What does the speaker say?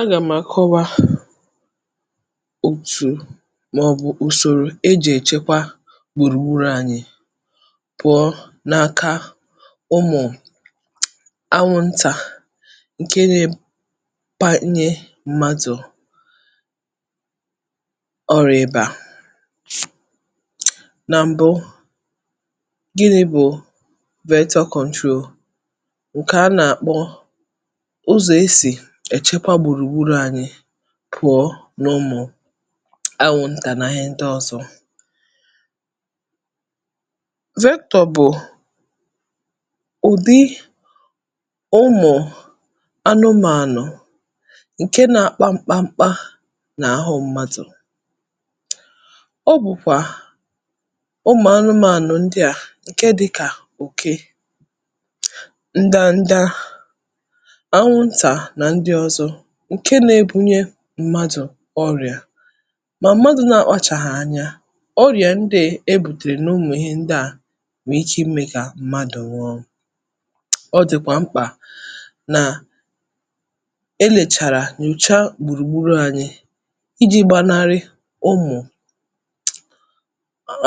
Anà m àkọwa òtù mọ̀bụ̀ ùsòrò ejè èchekwe gbùrùgburū anyị pụ̀ọ n’aka ụmụ̀ anwụntà ǹke nē panye mmadụ̀ ọrị̄bà nà m̀bụ, gịnị̄ bụ̀ vector control ǹkè a nàkpọ ụzọ̀ esì èchekwe gbùrùgburù anyị̄ pụ̀ọ n’ụmụ̀ anwụntà nà ihe ndọzọ̄. Vector bụ̀ ụ̀dị ụmụ̀ anụmānụ̀ ǹke nā-akpa mkpakpa n’àhụ mmadụ̀ ọ bụ̀kwà ụmụ̀ anụmānụ̀ ndị à ǹke dịkā òke, ndanda, anwụntà nà ndị ọ̀zọ ǹke nebụnye mmadụ̀ ọrịà mà m̀madụ̀ nakpachàhà anya ọrịà ndị è ebùtèrè n’ụmụ̀ ndị à nème kà mmadụ̀ nwụọ, ọ dị̀kwà mkpà nà-elèchàrà nyòchaa gbùrùgburū anyị ijī gbanarị ụmụ̀